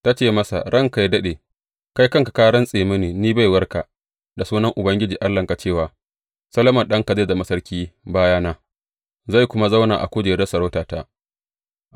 Ta ce masa, Ranka yă daɗe, kai kanka ka rantse mini ni baiwarka da sunan Ubangiji Allahnka cewa, Solomon ɗanka zai zama sarki bayana, zai kuma zauna a kujerar sarautata.’